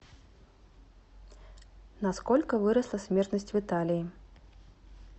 на сколько выросла смертность в италии